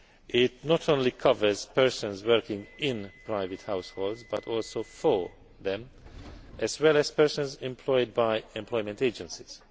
It not only covers persons working in private households, but also for them, as well as persons employed by employment agencies.